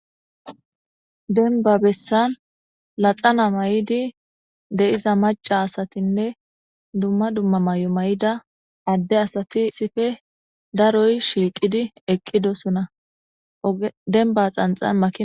denba bessan laxana maydi de7iza maca asatinne dumma dumma may7o may7ida adde asati isife daroy shiiqidi eqqidosona denba xanxanma